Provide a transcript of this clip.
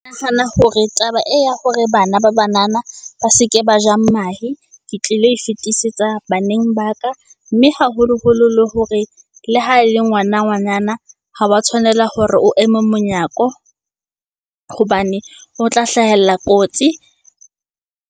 Nahana hore taba ee ya hore bana ba banana ba se ke ba ja mahe, ke tlile e fetisetsa baneng ba ka. Mme, haholoholo le hore le ha ele ngwana ngwanana, ha wa tshwanela hore o eme monyako hobane o tla hlahella kotsi.